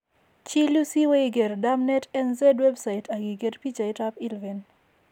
Chil yuu si iwee iker DermNetNZ Website ak iker bichaaitap ILVEN.